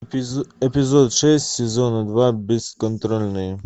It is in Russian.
эпизод шесть сезона два бесконтрольные